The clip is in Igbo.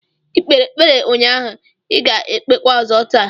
Ị kpere ekpere ụnyaahụ, I ga-ekpekwa ọzọ taa!